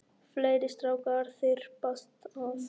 Fleiri strákar þyrpast að.